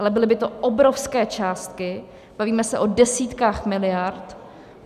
Ale byly by to obrovské částky, bavíme se o desítkách miliard.